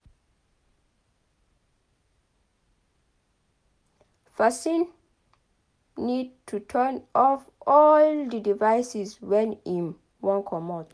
Person need to turn off all di devices when im wan comot